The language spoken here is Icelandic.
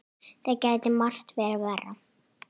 Það gæti margt verið verra.